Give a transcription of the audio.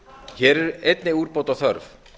hér er einnig úrbóta þörf